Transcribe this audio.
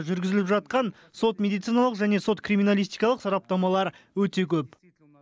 жүргізіліп жатқан сот медициналық және сот криминалистикалық сараптамалар өте көп